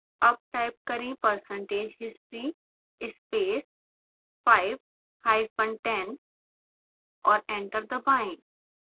अब टाइप करें percentage history space 5 hyphen 10 और एंटर दबाएं